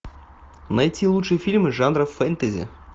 найти лучшие фильмы жанра фэнтези